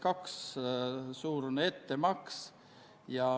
Kõnesoove ei ole.